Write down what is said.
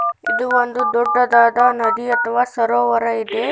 ಇದು ಒಂದು ದೊಡ್ಡದಾದ ನದಿ ಅಥವಾ ಸರೋವರ ಇದೆ.